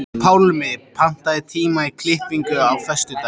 Pálmi, pantaðu tíma í klippingu á föstudaginn.